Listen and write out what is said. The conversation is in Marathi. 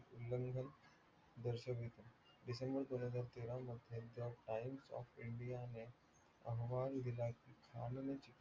उल्लंघन दर्शक डिसेंबर दोन हजार तेरा मध्ये times of india ने अहवाल दिला कि